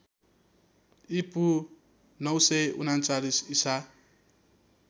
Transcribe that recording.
ईपू ९३९ ईसा